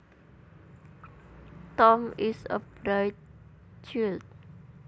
Tom is a bright child